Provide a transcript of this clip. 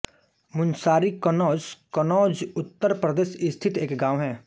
मूनसारी कन्नौज कन्नौज उत्तर प्रदेश स्थित एक गाँव है